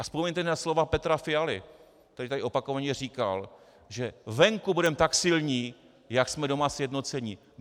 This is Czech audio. A vzpomeňte na slova Petra Fialy, který tady opakovaně říkal, že venku budeme tak silní, jak jsme doma sjednocení.